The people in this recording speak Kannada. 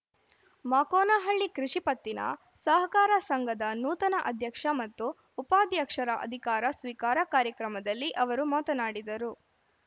ಮಾಕೋನಹಳ್ಳಿ ಕೃಷಿ ಪತ್ತಿನ ಸಹಕಾರ ಸಂಘದ ನೂತನ ಅಧ್ಯಕ್ಷ ಮತ್ತು ಉಪಾಧ್ಯಕ್ಷರ ಅಧಿಕಾರ ಸ್ವೀಕಾರ ಕಾರ್ಯಕ್ರಮದಲ್ಲಿ ಅವರು ಮಾತನಾಡಿದರು